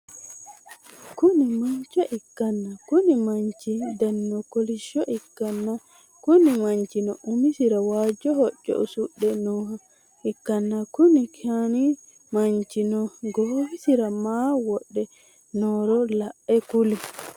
Kuni manchcho ikkanna konni manchi danino kolishsho ikkana Kuni manchino umisira waajo hocco usudhe nooha ikkanna Kuni khni manchino goowisira maa wodhe nohoro la'e kuli?